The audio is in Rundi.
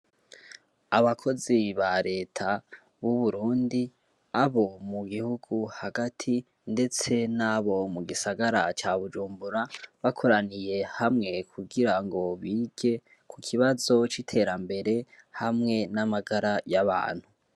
Abakozi ba leta b'uburundi abo mu gihugu hagati, ndetse n'abo mu gisagara ca bujumbura bakoraniye hamwe kugira ngo bige ku kibazo c'iterambere hamwe n'amagara y'abantu.